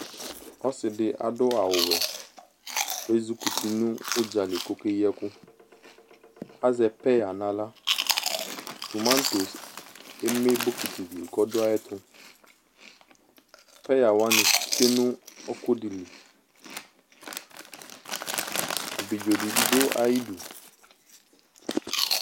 Ɔse de ado awuwɛ ko ezukuti no udzali koke yi ɛku Azɛ peya nahlaTomantos eme bokiti de li kɔdo ayetoPeya wane tsue no ɔku de liAbidzo de be do ayidu